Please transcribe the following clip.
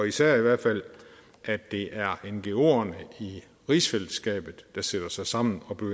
især i hvert fald at det er ngoerne i rigsfællesskabet der sætter sig sammen og bliver